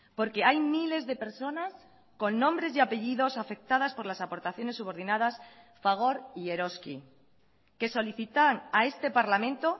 porque hay miles de personas con nombres y apellidos afectadas por las aportaciones subordinadas fagor y eroski que solicitan a este parlamento